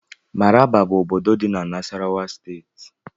Maraba bụ ọbọdọ dị n' Nassarawa steeti.